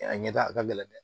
A ɲɛtaga ka gɛlɛn dɛ